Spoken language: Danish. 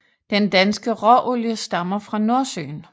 Den danske råolie stammer fra Nordsøen